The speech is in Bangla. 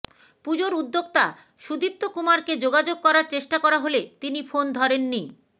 পুজোর উদ্যোক্তা সুদীপ্ত কুমারকে যোগাযোগ করার চেষ্টা করা হলে তিনি ফোন ধরেননি